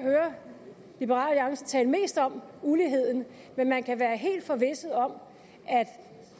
hører liberal alliance tale mest om men man kan være helt forvisset om at